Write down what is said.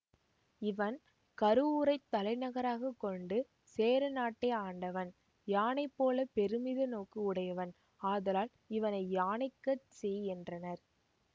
இவன் கருவூரைத் தலைநகராக கொண்டு சேர நாட்டை ஆண்டவன் யானை போல பெருமித நோக்கு உடையவன் ஆதலால் இவனை யானைக்கட் சேய் என்றனர்